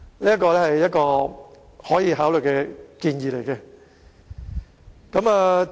這是一個可以考慮的建議。